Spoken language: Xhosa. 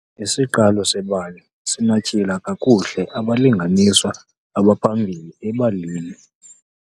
Isiqalo sebali sinatyhila kakuhle abalinganiswa abaphambili ebalini.